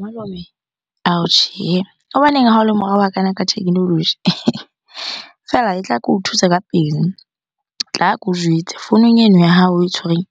Malome, ao tjhehe. Hobaneng ha o le morao hakana ka technology? Fela tla ko thuse ka pele, tla ke o jwetse. Founung eno ya hao oe tshwereng